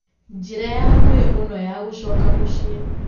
njĩra ya hakũhĩ mũno ya gũcoka mũciĩ